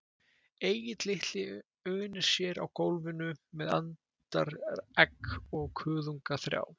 Egill litli unir sér á gólfinu með andaregg og kuðunga þrjá